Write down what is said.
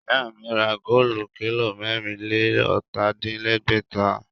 Ìyá mi ra góòlù kílò mẹ́rìn-lé-ọ̀tà-din-lẹ́gbẹ̀ta